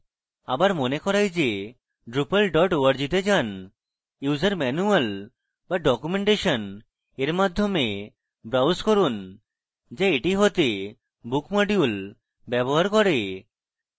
আবার মনে করাই go drupal org go যান user manual go documentation এর মাধ্যমে browse করুন go এটি হতে book module ব্যবহার করে